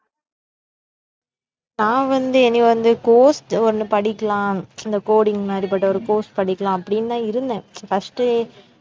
நான் வந்து இனி வந்து course ஒண்ணு படிக்கலாம் இந்த coding மாறி பட்ட ஒரு course படிக்கலாம் அப்படினுதான் இருந்தேன் first ஏ